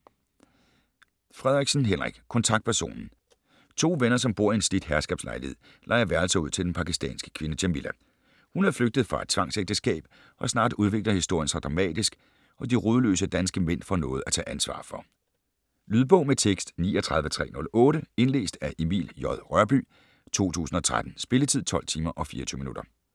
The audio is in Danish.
Frederiksen, Henrik: Kontaktpersonen To venner, som bor i en slidt herskabslejlighed, lejer værelser ud til den pakistanske kvinde Jamilla. Hun er flygtet fra et tvangsægteskab og snart udvikler historien sig dramatisk og de rodløse danske mænd får noget at tage ansvar for. Lydbog med tekst 39308 Indlæst af Emil J. Rørbye, 2013. Spilletid: 12 timer, 24 minutter.